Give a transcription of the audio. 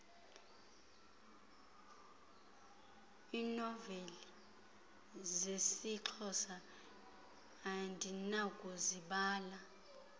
iinoveli zesixhosa andinakuzibala